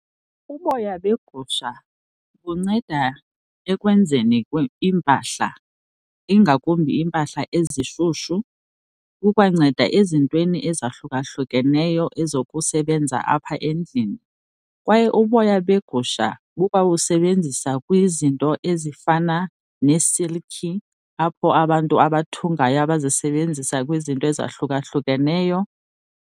Uboya begusha bunceda ekwenzeni iimpahla, ingakumbi iimpahla ezishushu. Kukwanceda ezintweni ezahlukahlukeneyo ezokusebenza apha endlini. Kwaye uboya begusha bukwabusebenzisa kwizinto ezifana neesilkhi, apho abantu abathungayo abazisebenzisa kwizinto ezahlukahlukeneyo.